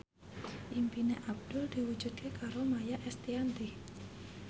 impine Abdul diwujudke karo Maia Estianty